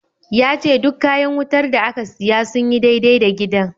Ya ce duk kayan wutar da aka siya sun yi dai-dai da gidan.